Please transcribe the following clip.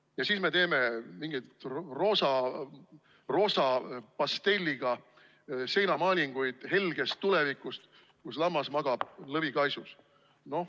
Ja siis me teeme mingeid roosa pastelliga seinamaalinguid helgest tulevikust, kus lammas magab lõvi kaisus.